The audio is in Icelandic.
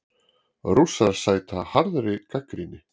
Rússar sæta harðri gagnrýni